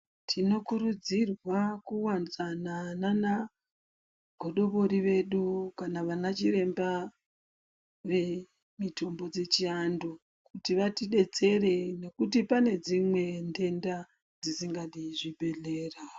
Tinokurudzirwa kuwadzana nagodobori vedu kana vanachiremba vemitombo dzechiantu kuti vatidetsere nekuti pane dzimwe ntenda dzisingadi zvibhedhlera.